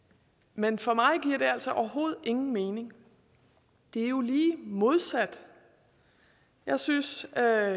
men for mig giver det altså overhovedet ingen mening det er jo lige modsat jeg synes at